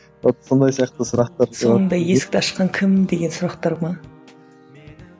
вот сондай сияқты сұрақтарды сонда есікті ашқан кім деген сұрақтар ма